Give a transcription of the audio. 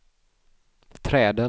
träden